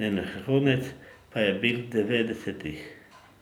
njen vrhunec pa je bil v devetdesetih.